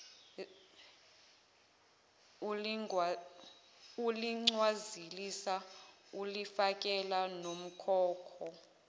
uligcwalisa ulifakele nomkhokho